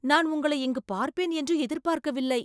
நான் உங்களை இங்கு பார்ப்பேன் என்று எதிர்பார்க்கவில்லை